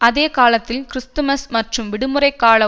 அதேகாலத்தில் Christmas மற்றும் விடுமுறை கால